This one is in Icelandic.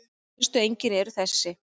Helstu einkennin eru þessi